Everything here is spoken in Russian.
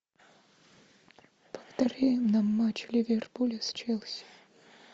повтори нам матч ливерпуля с челси